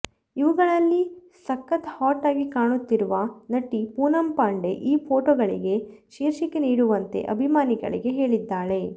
ಇವುಗಳಲ್ಲಿ ಸಕತ್ ಹಾಟ್ ಆಗಿ ಕಾಣುತ್ತಿರುವ ನಟಿ ಪೂನಂಪಾಂಡೆ ಈ ಫೊಟೋಗಳಿಗೆ ಶೀರ್ಷಿಕೆ ನೀಡುವಂತೆ ಅಭಿಮಾನಿಗಳಿಗೆ ಹೇಳಿದ್ದಾಳೆ